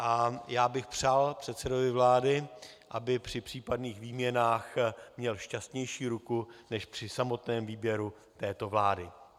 A já bych přál předsedovi vlády, aby při případných výměnách měl šťastnější ruku než při samotném výběru této vlády.